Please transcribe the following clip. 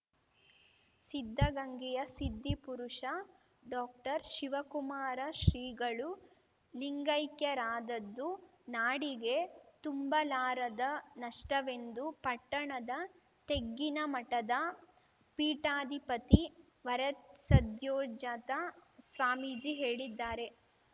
ಸಿದ್ಧಗಂಗೆಯ ಸಿದ್ಧಿಪುರುಷ ಡಾಕ್ಟರ್ ಶಿವಕುಮಾರ ಶ್ರೀಗಳು ಲಿಂಗೈಕ್ಯರಾದದ್ದು ನಾಡಿಗೆ ತುಂಬಲಾರದ ನಷ್ಟವೆಂದು ಪಟ್ಟಣದ ತೆಗ್ಗಿನಮಠದ ಪೀಠಾಧಿಪತಿ ವರಸದ್ಯೋಜಾತ ಸ್ವಾಮೀಜಿ ಹೇಳಿದ್ದಾರೆ